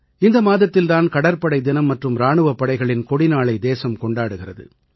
இந்த மாதத்தில் தான் கடற்படை தினம் மற்றும் இராணுவப் படைகளின் கொடிநாளை தேசம் கொண்டாடுகிறது